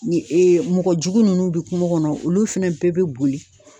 mɔgɔjugu nunnu bɛ kungo kɔnɔ olu fɛnɛ bɛɛ bɛ boli.